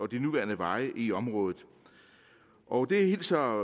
de nuværende veje i området og det hilser